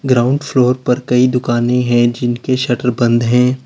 Ground floor पर कई दुकानें हैं जिनके शटर बंद है।